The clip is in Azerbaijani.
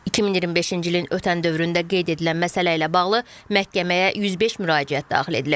2025-ci ilin ötən dövründə qeyd edilən məsələ ilə bağlı məhkəməyə 105 müraciət daxil edilib.